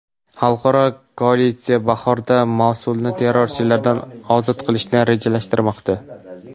Xalqaro koalitsiya bahorda Mosulni terrorchilardan ozod qilishni rejalashtirmoqda.